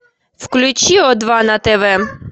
включи о два на тв